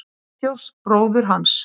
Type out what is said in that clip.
Friðþjófs bróður hans.